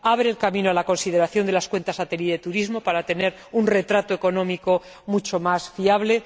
abre el camino a la consideración de las Cuentas Satélite de Turismo para tener un retrato económico mucho más fiable